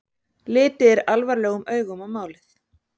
Litið er alvarlegum augum á málið